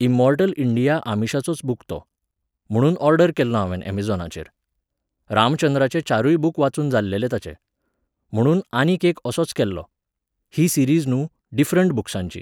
Immortal India आमिशाचोच book तो. म्हुणून ओर्डर केल्लो हांवें अमॅझॉनाचेर. रामचंद्राचे चारूय बूक वाचून जाल्लेले ताचे. म्हुणून आनीक एक असोच केल्लोॉ. ही सिरीज न्हू, डिफरंट बूक्सांची.